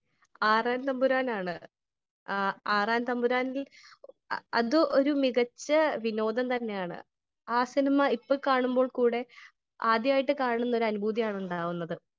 Speaker 1 ആറാൻതമ്പുരാനാണ് . ആറാൻതമ്പുരാനിൽ അത് ഒരു മികച്ച വിനോദം തന്നെയാണ് . ആ സിനിമ ഇപ്പോ കാണുമ്പോൾ കൂടെ ആദ്യായിട്ട് കാണുന്ന ഒരു അനുഭൂതിയാണ് ഉണ്ടാകുന്നത് .